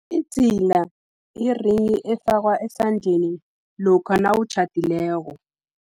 Idzila, yi-ring efakwa esandleni, lokha nawutjhadileko.